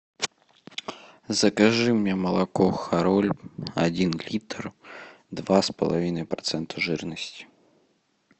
закажи мне молоко хороль один литр два с половиной процента жирности